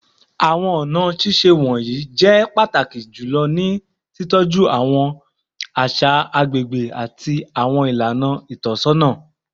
Awọn ọna ṣiṣe wọnyi jẹ pataki julọ ni titọju awọn aṣa agbegbe ati awọn ilana itọsọna